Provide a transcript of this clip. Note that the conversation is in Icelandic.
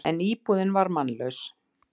En íbúðin var mannlaus.